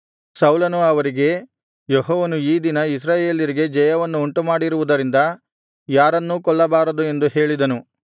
ಸೌಲನು ಅವರಿಗೆ ಯೆಹೋವನು ಈ ದಿನ ಇಸ್ರಾಯೇಲ್ಯರಿಗೆ ಜಯವನ್ನು ಉಂಟುಮಾಡಿರುವುದರಿಂದ ಯಾರನ್ನೂ ಕೊಲ್ಲಬಾರದು ಎಂದು ಹೇಳಿದನು